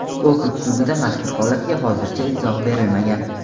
Okrug sudida mazkur holatga hozircha izoh berilmagan.